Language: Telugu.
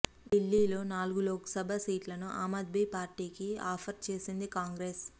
ఢిల్లీలో నాలుగు లోక్సభ సీట్లను ఆమ్ ఆద్మీ పార్టీకి ఆఫర్ చేసింది కాంగ్రెస్